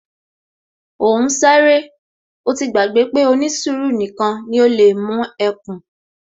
Ó ń sáré, ó ti gbàgbé pé ó ní sùúrù nìkan ni ó lè mú ẹkùn